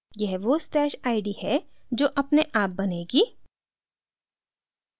यह वो stash id है जो अपने आप बनेगी